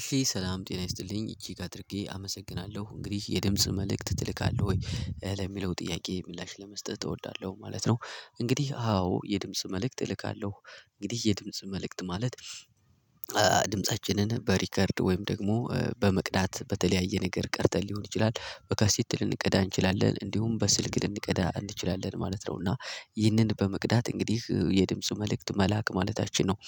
እሺ ሰላም ጤና ይስጥልኝ እጅግ አድርጌ አመሰግናለሁ እንግዲህ የድምጽ መልእክት ትልካለህ ወይ ለሚለው ጥያቄ ምላሽ ለመስጠት እወዳለሁ ማለት ነው? እንግዲህ አዎ የድምጽ መልእክት እልካለሁ። እንግዲህ የድምጽ መልእክት ማለት ድምፃችንን በሪከርድ ወይም ደግሞ በመቅዳት በተለያየ ነገር ቀድተን ሊሆን ይችላል በካሲቲ ልንቀዳ እንችላለን እንዲሁም በስልክ ልንቀዳ እንችላለን ማለት ነው እና ይህንን በመቅዳት እንግዲህ የድምጽ መልእክት መላክ ማለታችን ነው።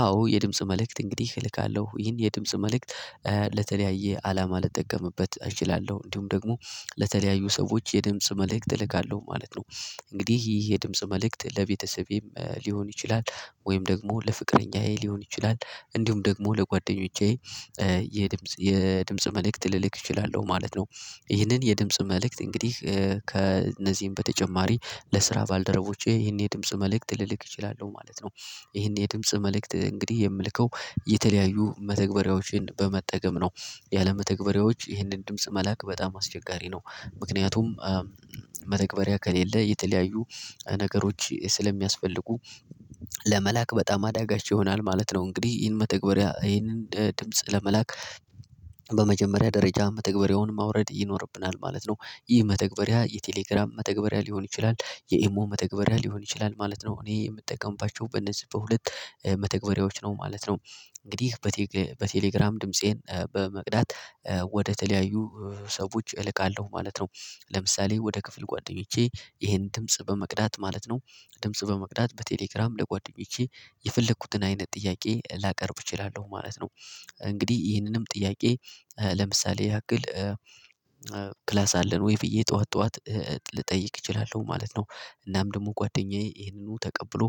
አዎ የድምጽ መልእክት እንግዲህ እልካለሁ ይሄን የድምጽ መልእክት ለተለያየ አላማ ልጠቀምበት እችላለሁ እንዲሁም ደግሞ ለተለያዩ ሰዎች የድምጽ መልእክት እልካለሁ ማለት ነው። እንግዲህ ይህ የድምጽ መልእክት ለቤተሰቤም ሊሆን ይችላል ወይም ደግሞ ለፍቅረኛዬ ሊሆን ይችላል። እንዲሁም ደግሞ ለጓደኞቼ የድምጽ የድምጽ መልእክት ልልክ እችላለሁ ማለት ነው። ይህንን የድምጽ መልእክት እንግዲህ ከእነዚህም በተጨማሪ ለስራ ባልደረቦቼ ይህን የድምጽ መልእክት ልልክ እችላለሁ ማለት ነው። ይሄን የድምጽ መልእክት እንግዲህ የምልከው የተለያዩ መተግበሪያዎችን በመጠገም ነው ያለመተግበሪያወች መተግበሪያዎች ይህንን ድምጽ መላክ በጣም አስቸጋሪ ነው። ምክንያቱም መተግበሪያ ከሌለ የተለያዩ ነገሮች ስለሚያስፈልጉ ለመላክ በጣም አዳጋች ይሆናል ማለት ነው። እንግዲህ ይህን መተግበሪያ ይህንን ድምጽ ለመላክ በመጀመሪያ ደረጃ መተግበሪያውን ማውረድ ይኖርብናል ማለት ነው። ይህ መተግበሪያ የቴሌግራም መተግበሪያ ሊሆን ይችላል የኤሞ መተግበሪያ ሊሆን ይችላል ማለት ነው እኔ የምጠቀምባችሁ በነዚህ በሁለት መተግበሪያዎች ነው ማለት ነው። እንግዲህ በቴሌግራም ድምፄን በመቅዳት ወደተለያዩ ሰዎች እልካለሁ ማለት ነው። ለምሳሌ ወደ ክፍል ጓደኞቼ ይሄን ድምጽ በመቅዳት ማለት ነው። ድምጽ በመቅዳት በቴሌግራም ለጓደኞቼ የፈለኩትን አይነት ጥያቄ ላቀርብ እችላለሁ ማለት ነው። እንግዲህ ይህንንም ጥያቄ ለምሳሌ ያክል ክላስ አለን ወይ ብዬ ጠዋት ጠዋት ልጠይቅ እችላለሁ ማለት ነው። እናም ደግሞ ጓደኛዬ ይሄንኑ ተቀብሎ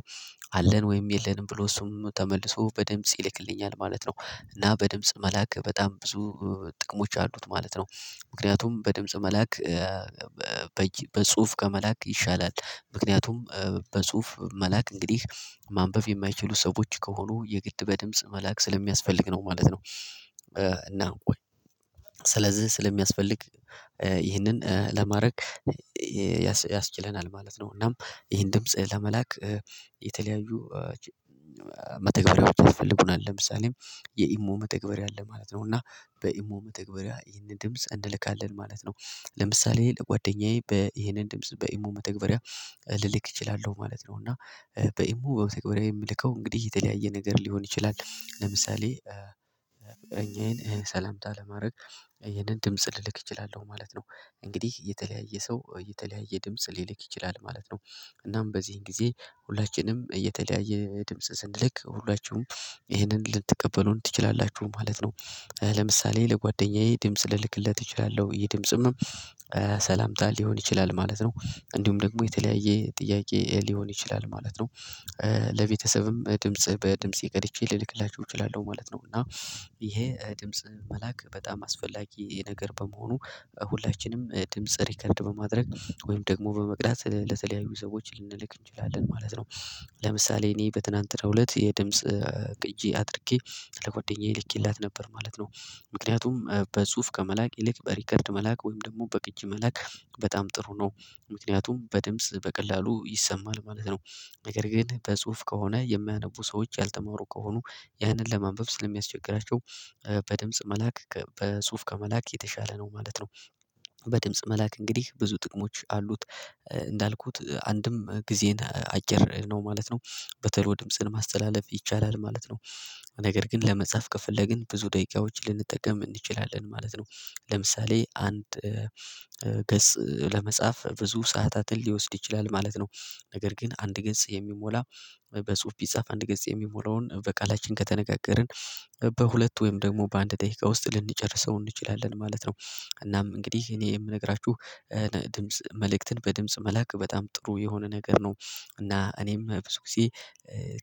አለን ወይም የለንም ብሎ እሱም ተመልሶ በድምጽ ይልክልኛል ማለት ነው። እና በድምጽ መላክ በጣም ብዙ ጥቅሞች አሉት ማለት ነው። ምክንያቱም በድምጽ መላክ በጽሁፍ ከመላክ ይሻላል ምክንያቱም በጽሁፍ መላክ እንግዲህ ማንበብ የማይችሉ ሰዎች ከሆኑ የግድ በድምጽ መላክ ስለሚያስፈልግ ነው ማለት ነው። እና ወይ ስለዚህ ስለሚያስፈልግ ይህንን ለማድረግ ያስችለናል ማለት ነው። እናም ይህን ድምጽ ለመላክ የተለያዩ መተግበሪያዎች አስፈልጉናል ለምሳሌ የኢሞ መተግበሪያ አለ ማለት ነው። እና በኢሞ መተግበሪያ ይህንን ድምጽ እንልካለን ማለት ነው። ለምሳሌ ለጓደኛዬ ይህንን ድምጽ በኢሞ መተግበሪያ ልልክ እችላለሁ ማለት ነው። እና በኢሞ መተግበሪያ የምልከው እንግዲህ የተለያየ ነገር ሊሆን ይችላል ለምሳሌ ፍቅረኛየን ሰላምታ ለማድረግ ይህንን ድምጽ ልልክ እችላለሁ ማለት ነው። እንግዲህ የተለያየ ሰው የተለያየ ድምጽ ሊልክ ይችላል ማለት ነው። እናም በዚህን ጊዜ ሁላችንም እየተለያየ ድምጽ ስንልክ ሁላችሁም ይህንን ልትቀበሉን ትችላላችሁ ማለት ነው። ለምሳሌ ለጓደኛዬ ድምጽ ልልክለት እችላለሁ ይሄ ድምጽም ሰላምታ ሊሆን ይችላል ማለት ነው። እንዲሁም ደግሞ የተለያየ ጥያቄ ሊሆን ይችላል ማለት ነው። ለቤተሰብም ድምጽ በድምጽ ቀድቼ ልልክላችሁ እችላለሁ ማለት ነው። እና ይሄ ድምጽ መላክ በጣም አስፈላጊ ነገር በመሆኑ ሁላችንም ድምጽ ሪከርድ በማድረግ ወይም ደግሞ በመቅዳት ለተለያዩ ሰዎች ልንልክ እንችላለን ማለት ነው። ለምሳሌ እኔ በትናንት ለሁለት የድምጽ ቅጂ አድርጌ ለጓደኛዬ ልኬላት ነበር ማለት ነው። ምክንያቱም በጽሁፍ ከመላክ ይልቅ በሪከርድ መላክ ወይም ደግሞ በቅጅ መላክ በጣም ጥሩ ነው። ምክንያቱም በድምጽ በቀላሉ ይሰማል ማለት ነው። ነገር ግን በጽሁፍ ከሆነ የሚያነቡ ሰዎች ያልተማሩ ከሆኑ ያንን ለማንበብ ስለሚያስቸግራቸው በድምጽ መላክ በጽሁፍ ከመላክ የተሻለ ነው ማለት ነው። በድምጽ መላክ እንግዲህ ብዙ ጥቅሞች አሉት። እንዳልኩት አንድም ጊዜን አጭር ነው ማለት ነው። በተለይ ድምጽን ማስተላለፍ ይቻላል ማለት ነው። ነገር ግን ለመጻፍ ከፍለግን ብዙ ደቂቃዎችን ልንጠቀም እንችላለን ማለት ነው። ለምሳሌ አንድ ገጽ ለመጻፍ ብዙ ሰዓታትን ሊወስድ ይችላል ማለት ነው። ነገር ግን አንድ ገጽ የሚሞላ በጽሁፍ ቢጻፍ አንድ ገጽ የሚሞላውን በቃላችን ከተነጋገርን በሁለት ወይም ደግሞ በአንድ ደቂቃ ውስጥ ልንጨርሰው እንችላለን ማለት ነው። እናም እንግዲህ እኔ የምነግራችሁ ድምጽ መልእክትን በድምጽ መላክ በጣም ጥሩ የሆነ ነገር ነው። እና እኔም ብዙ ጊዜ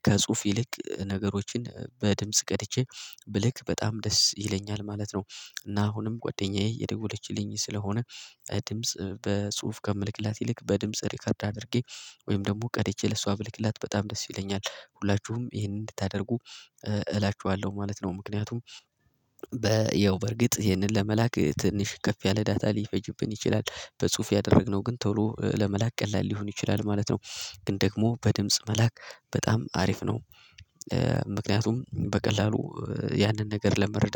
ከጽሁፍ ይልቅ ነገሮችን በድምጽ ቀድቼ ብልክ በጣም ደስ ይለኛል ማለት ነው። እና አሁንም ጓደኛዬ እየደወለችልኝ ስለሆነ ድምጽ በጽሁፍ ከምልክላት ይልቅ በድምጽ ሪከርድ አድርጌ ወይም ደግሞ ቀድቼ ለሷ ብልክላት በጣም ደስ ይለኛል ሁላችሁም ይሄንን እንድታደርጉ እላችኋለሁ ማለት ነው። ምክንያቱም ያው በርግጥ ይሄንን ለመላክ ትንሽ ከፍ ያለ ዳታ ሊፈጅብን ይችላል። በጽሁፍ ያደረግነው ግን ቶሎ ለመላክ ቀላል ሊሆን ይችላል ማለት ነው። ግን ደግሞ በድምጽ መላክ በጣም አሪፍ ነው። ምክንያቱም በቀላሉ ያንን ነገር ለመረዳት